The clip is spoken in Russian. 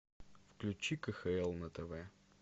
включи кхл на тв